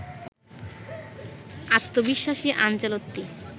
আত্মবিশ্বাসী আনচেলত্তি